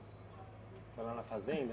Foi lá na fazenda